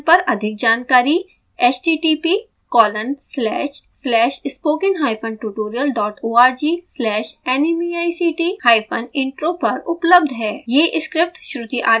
इस मिशन पर अधिक जानकारी